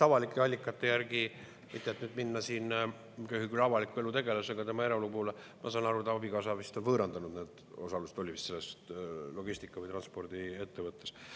Avalike allikate järgi, et mitte minna siin avaliku elu tegelase eraelu juurde, ma saan aru, et ta abikaasa vist on võõrandanud osaluse selles logistika‑ või transpordiettevõttes.